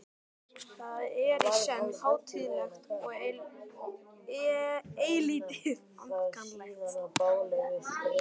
Það er í senn hátíðlegt og eilítið ankannalegt.